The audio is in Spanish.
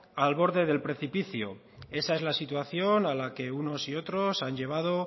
al borde del precipicio esa es la situación a la que unos y otros han llevado